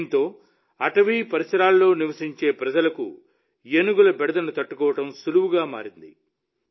దీంతో అటవీ పరిసరాల్లో నివసించే ప్రజలకు ఏనుగుల బెడదను తట్టుకోవడం సులువుగా మారింది